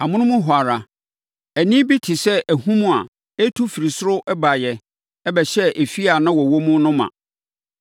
Amonom hɔ ara, ɛnne bi te sɛ ahum a ɛretu firi ɔsoro baeɛ bɛhyɛɛ efie a na wɔwɔ mu no ma.